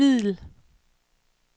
middel